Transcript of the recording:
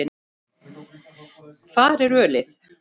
Hvar er ölið?